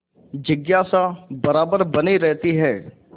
जिज्ञासा बराबर बनी रहती है